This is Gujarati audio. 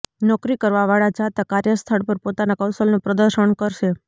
નોકરી કરવા વાળા જાતક કાર્યસ્થળ પર પોતાના કૌશલ નું પ્રદર્શન કરશે